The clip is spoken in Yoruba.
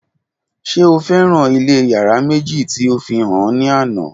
Ṣe o fẹran ilé yárà meji ti o fihan ọ ni ana?